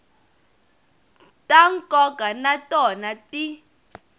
ta nkoka na tona ti